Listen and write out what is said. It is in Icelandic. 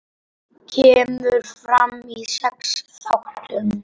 Kemur fram í sex þáttum.